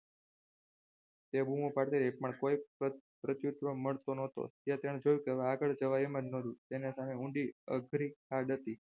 તે બૂમો પાડતી રહી પણ કોઈ મળતું ન હતો જોયું કે આગળ જવાય એમ ન હતું તેને તમે ઊંડી અડધી ખાધા હતી.